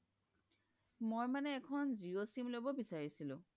মই মানে এখন জিঅ' sim লব বিচাৰিছিলো